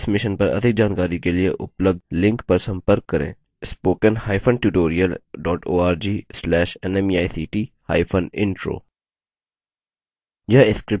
इस mission पर अधिक जानकारी के लिए उपलब्ध लिंक पर संपर्क करें